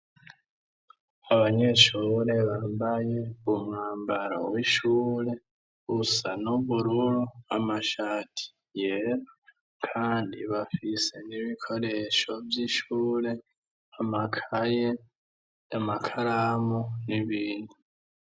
Abanyeshure bambaye umwambaro w'ishure usa n'ubururu, amashati yera kandi bafise n'ibikoresho vy'ishure amakaye, amakaramu, n'ibindi.